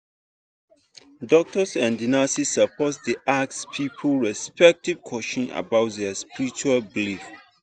doctors and nurses suppose dey ask people respectful question about their spiritual belief.